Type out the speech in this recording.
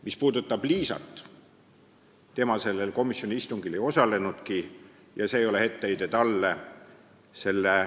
Mis puudutab Liisat, siis tema sellel komisjoni istungil ei osalenudki, aga see ei ole etteheide talle.